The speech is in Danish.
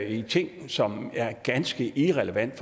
i ting som er ganske irrelevante